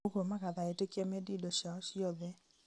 ũguo magatha etĩkia mendie indo ciao ciothe